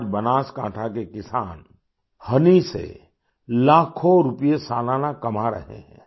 आज बनासकांठा के किसान होनी से लाखों रुपए सालाना कमा रहे हैं